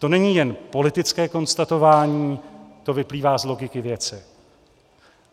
To není jen politické konstatování, to vyplývá z logiky věci.